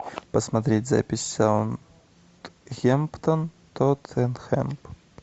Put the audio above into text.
посмотреть запись саутгемптон тоттенхэм